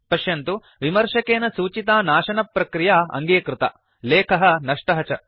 पश्यन्तु विमर्शकेन सूचिता नाशनप्रक्रिया अङ्गीकृता लेखः नष्टः च